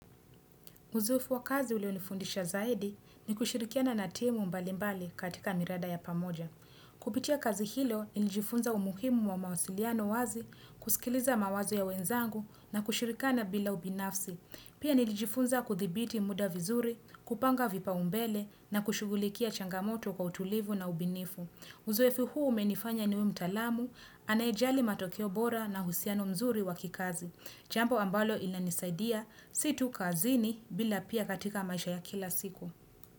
Uzoefu wa kazi ulionifundisha zaidi ni kushirikiana na timu mbalimbali katika mirada ya pamoja. Kupitia kazi hilo nilijifunza umuhimu wa mawasiliano wazi, kusikiliza mawazo ya wenzangu na kushirikana bila ubinafsi. Pia nilijifunza kuthibiti muda vizuri, kupanga vipau mbele na kushugulikia changamoto kwa utulivu na ubinifu. Uzoefu huu umenifanya niwe mtaalamu, anaejali matokeo bora na husiano mzuri wa kikazi. Jambo ambalo inanisaidia si tu kazini bila pia katika maisha ya kila siku.